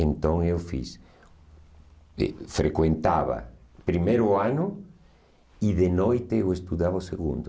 Então eu fiz, frequentava primeiro ano e de noite eu estudava o segundo.